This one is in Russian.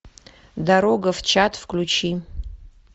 дорога в чат включи